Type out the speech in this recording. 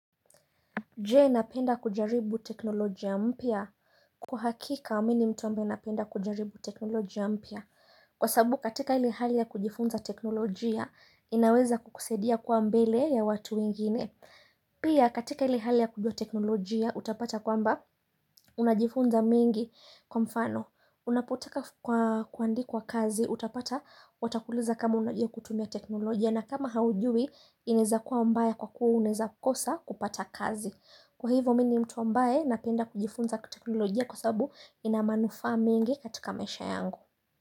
Je, napenda kujaribu teknolojia mpya? Kwa hakika mi ni mtu ambaye napenda kujaribu teknolojia mpya kwa sababu katika ile hali ya kujifunza teknolojia inaweza kukusaidia kuwa mbele ya watu wengine Pia katika ile hali ya kujua teknolojia utapata kwamba, unajifunza mengi kwa mfano, unapotaka kuandikwa kazi utapata watakuuliza kama unajua kutumia teknolojia na kama haujui, inaweza kuwa mbaya kwa kuwa unaweza kosa kupata kazi. Kwa hivyo mi ni mtu ambaye napenda kujifunza teknolojia kwa sababu ina manufaa mengi katika maisha yangu.